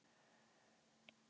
Eins sé umferðin minni.